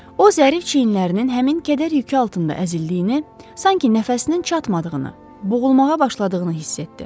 O, zərif çiyinlərinin həmin kədər yükü altında əzildiyini, sanki nəfəsinin çatmadığını, boğulmağa başladığını hiss etdi.